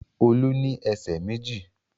Olú ní ẹsẹ̀ méjì.